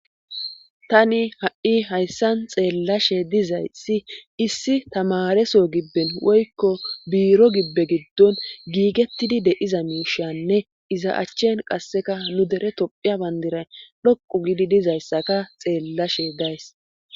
Tani ha7i hayssan xeellashe dizayssi issi tamareso gibben woykko biiro gibbe giddon giigettidi de7iza miishanne iza achchen qasseka nu dere topphiya bandiray dhoqu gidi dizayssaka xeellashe days